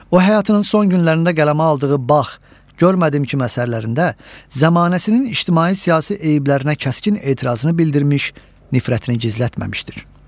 O həyatının son günlərində qələmə aldığı Bax, Görmədim kimi əsərlərində zamanəsinin ictimai-siyasi eyblərinə kəskin etirazını bildirmiş, nifrətini gizlətməmişdir.